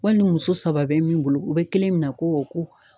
Wali muso saba bɛ min bolo u bɛ kelen minɛ ko ko